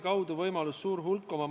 Kas see pole elementaarne?